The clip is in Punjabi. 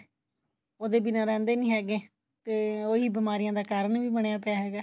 ਉਹਦੇ ਬਿਨਾ ਰਹਿੰਦੇ ਨੀ ਹੈਗੇ ਤੇ ਉਹੀ ਬੀਮਾਰੀਆ ਦਾ ਕਰਨ ਵੀ ਬਣਿਆ ਪਿਆ ਹੈਗਾ